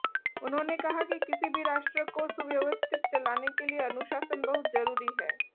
उन्होंने कहा कि किसी भी राष्ट्र को सुव्यवस्थित चलाने के लिए अनुशासन बहुत जरूरी है